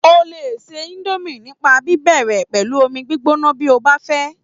O lè se indomie nípa bíbẹ̀rẹ̀ pẹ̀lú omi gbígbóná bí o bá fẹ́